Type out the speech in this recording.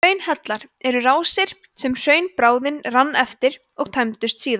hraunhellar eru rásir sem hraunbráðin rann eftir og tæmdust síðan